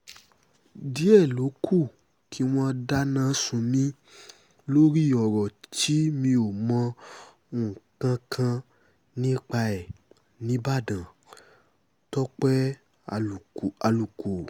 díẹ̀ ló kù kí wọ́n dáná sun mí lórí ọ̀rọ̀ tí mi ò mọ nǹkan kan nípa ẹ̀ nìbàdàn-tọ́pẹ́ àlùkò